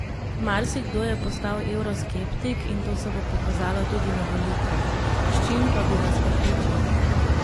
Marsikdo je postal evroskeptik in to se bo pokazalo tudi na volitvah, S čim pa bi vas prepričali?